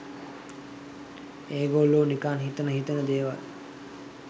ඒගොල්ලෝ නිකන් හිතෙන හිතෙන දේවල්